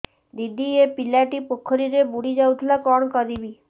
ଦିଦି ଏ ପିଲାଟି ପୋଖରୀରେ ବୁଡ଼ି ଯାଉଥିଲା କଣ କରିବି